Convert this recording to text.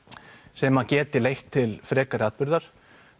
sem að geti leitt til frekari atburðar